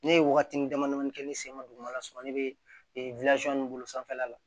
Ne ye wagatini dama dama kɛ ne sen ma dugumala sɔrɔ ne bɛ nin bolo sanfɛla la